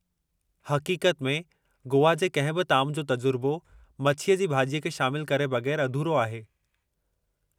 हक़ीक़त में, गोवा जे कंहिं बि ताम जो तजुर्बो मछीअ जी भाॼीअ खे शामिलु करे बगै़रु अधूरो आहे।